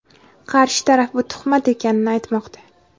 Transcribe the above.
Qarshi taraf bu tuhmat ekanini aytmoqda.